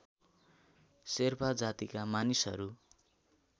शेर्पा जातिका मानिसहरू